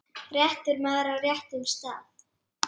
réttur maður á réttum stað.